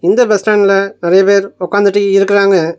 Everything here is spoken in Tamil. இந்த பஸ் ஸ்டாண்ட்ல நெறைய பேர் ஒக்காந்துட்டு இருக்குறாங்க.